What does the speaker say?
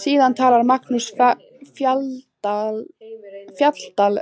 Síðan talar Magnús Fjalldal